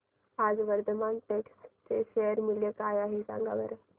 आज वर्धमान टेक्स्ट चे शेअर मूल्य काय आहे सांगा बरं